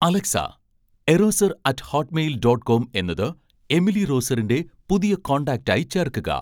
Alexa, erosser at Hotmail dot com എന്നത് Emily റോസറിന്റെ പുതിയ കോൺടാക്റ്റായി ചേർക്കുക